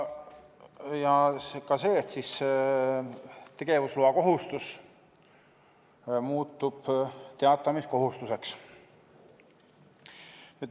Ja ka see, et tegevusloakohustus muutub teatamiskohustuseks.